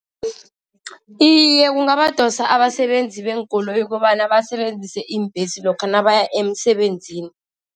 Iye, kungabadosa abasebenzi beenkoloyi kobana basebenzise iimbhesi lokha nabaya emsebenzini.